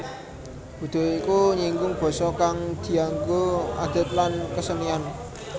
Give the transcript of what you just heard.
Budaya iku nyinggung basa kang dianggo adat lan kesenian